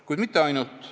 Kuid mitte ainult.